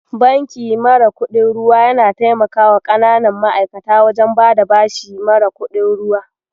Banki mara kuɗin ruwa yana taimakawa ƙananan ma'aikata wajen bada bashi mara kuɗin ruwa.